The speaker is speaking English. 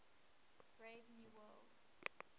brave new world